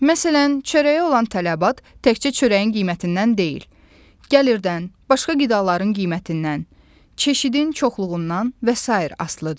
Məsələn, çörəyə olan tələbat təkcə çörəyin qiymətindən deyil, gəlirdən, başqa qidaların qiymətindən, çeşidin çoxluğundan və sair asılıdır.